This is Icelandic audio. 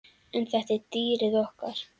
En þetta var dýrið okkar.